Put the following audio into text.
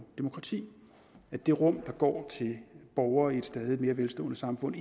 demokrati at det rum der går til borgere i et stadig mere velstående samfund